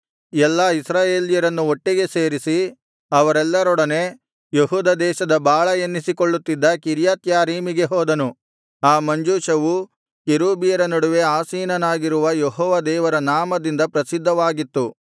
ಎಲ್ಲಾ ಇಸ್ರಾಯೇಲ್ಯರನ್ನು ಒಟ್ಟಿಗೆ ಸೇರಿಸಿ ಅವರೆಲ್ಲರೊಡನೆ ಯೆಹೂದ ದೇಶದ ಬಾಳಾ ಎನ್ನಿಸಿಕೊಳ್ಳುತ್ತಿದ್ದ ಕಿರ್ಯತ್ಯಾರೀಮಿಗೆ ಹೋದನು ಆ ಮಂಜೂಷವು ಕೆರೂಬಿಯರ ನಡುವೆ ಆಸೀನನಾಗಿರುವ ಯೆಹೋವ ದೇವರ ನಾಮದಿಂದ ಪ್ರಸಿದ್ಧವಾಗಿತ್ತು